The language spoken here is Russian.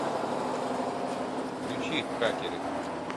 включи хакеры